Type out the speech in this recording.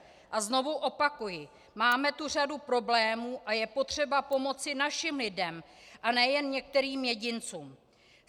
A znovu opakuji: Máme tu řadu problémů a je potřeba pomoci našim lidem a ne jen některým jedincům.